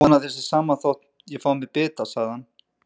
Ég vona að þér sé sama þótt ég fái mér bita, sagði hann.